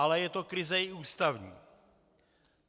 Ale je to krize i ústavní.